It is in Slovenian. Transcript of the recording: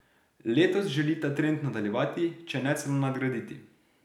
Letos želi ta trend nadaljevati, če ne celo nadgraditi.